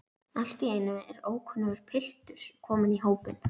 Allt í einu er ókunnur piltur kominn í hópinn.